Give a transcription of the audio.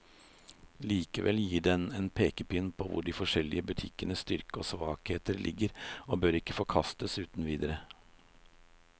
Likevel gir den en pekepinn på hvor de forskjellige butikkenes styrker og svakheter ligger, og bør ikke forkastes uten videre.